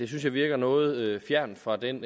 så virker noget fjernt fra den